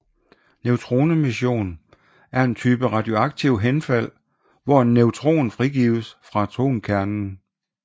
Neutronemission er en type radioaktivt henfald hvor en neutron frigives fra atomkernen